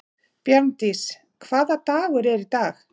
Bjarndís, hvaða dagur er í dag?